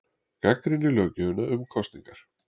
Gagnrýnir löggjöfina um kosningarnar